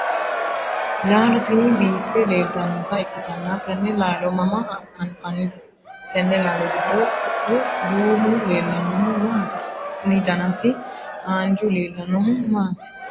laalo tini biiffe leeltannota ikkitanna tenne laalo mama anfannite? tenne laalo giddo kuu'u duumu leellannohu maati? kuni danasi haanju leellannohu maati?